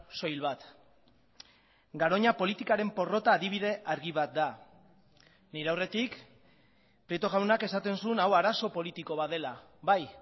soil bat garoña politikaren porrota adibide argi bat da nire aurretik prieto jaunak esaten zuen hau arazo politiko bat dela bai